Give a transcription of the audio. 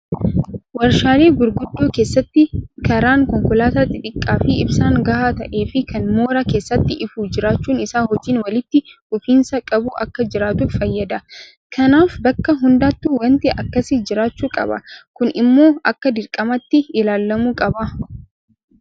Warshaalee gurguddoo keessatti karaan konkolaataa xixiqqaafi ibsaan gahaa ta'eefi kan mooraa keessatti ifu jiraachuun isaa hojiin walitti fufinsa qabu akka jiraatuuf fayyada. Kanaaf bakka hundattuu waanti akkasii jiraachuu qaba. Kun immoo akka dirqamaatti ilaalamuu qaba.